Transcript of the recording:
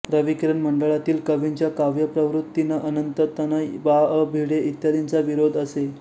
रविकिरण मंडळातील कवींच्या काव्यप्रवृत्तींना अनंततनय बा अ भिडे इत्यादींचा विरोध असे